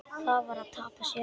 Það var að tapa sér.